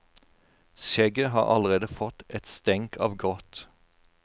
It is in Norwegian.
Skjegget har allerede fått et stenk av grått.